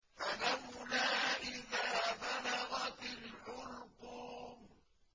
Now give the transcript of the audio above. فَلَوْلَا إِذَا بَلَغَتِ الْحُلْقُومَ